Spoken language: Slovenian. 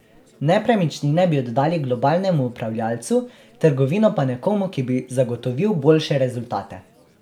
Nepremičnine bi oddali globalnemu upravljavcu, trgovino pa nekomu, ki bi zagotovil boljše rezultate.